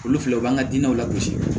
Olu filɛ o b'an ka dinɛw lakɔsi